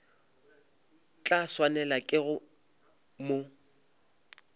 tla swanelwa ke go mo